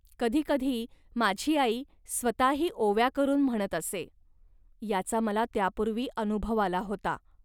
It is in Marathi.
कधी कधी माझी आई स्वतःही ओव्या करून म्हणत असे. याचा मला त्यापूर्वी अनुभव आला होता